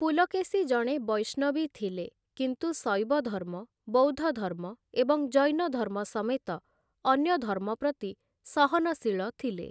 ପୁଲକେଶୀ ଜଣେ ବୈଷ୍ଣବୀ ଥିଲେ, କିନ୍ତୁ ଶୈବ ଧର୍ମ, ବୌଦ୍ଧ ଧର୍ମ ଏବଂ ଜୈନ ଧର୍ମ ସମେତ ଅନ୍ୟ ଧର୍ମ ପ୍ରତି ସହନଶୀଳ ଥିଲେ ।